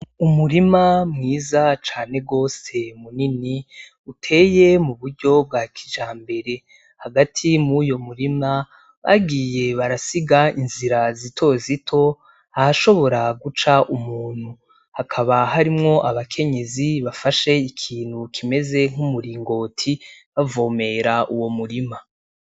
Umurima mwiza cane gose munini, uteye mu buryo bwa kijambere. Hagati muri uyo murima, bagiye barasiga inzira zitozito ahashobora guca umuntu. Hakaba harimwo abakenyezi bafashe ikintu kimeze nk'umuringoti, bavomera uwo murima.